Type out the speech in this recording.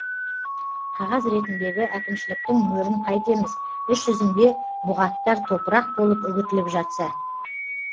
қағаз ретіндегі әкімшіліктің мөрін қайтеміз іс жүзінде бұғаттар топырақ болып үгітіліп жатса